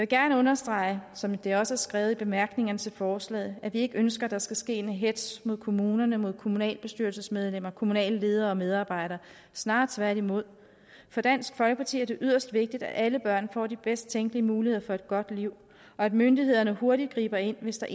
gerne understrege som det også er skrevet i bemærkningerne til forslaget at vi ikke ønsker at der skal ske en hetz mod kommuner mod kommunalbestyrelsesmedlemmer kommunale ledere og medarbejdere snarere tværtimod for dansk folkeparti er det yderst vigtigt at alle børn får de bedst tænkelige muligheder for et godt liv og at myndighederne hurtigt griber ind hvis der